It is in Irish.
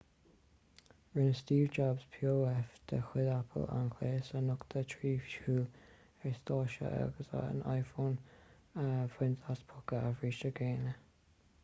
rinne steve jobs pof de chuid apple an gléas a nochtadh trí shiúl ar stáitse agus an iphone a bhaint as póca a bhríste géine